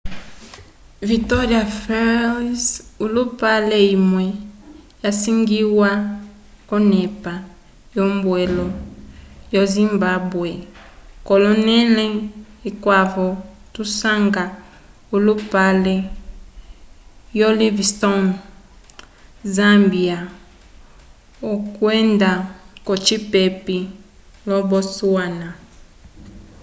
victória falls olupale imwe isangiwa k'onepa yombwelo yo zimbabwe k'onẽle ikwavo tusanga olupale wo livingstone zâmbia kwenda ocipepi lo botswana